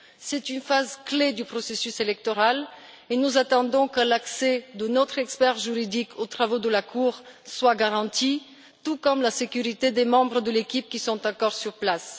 C'est une phase clé du processus électoral et nous attendons que l'accès de notre expert juridique aux travaux de la Cour soit garanti, tout comme la sécurité des membres de l'équipe qui sont encore sur place.